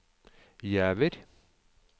Givær